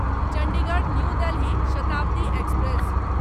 Chandigarh new Delhi Shatabdi express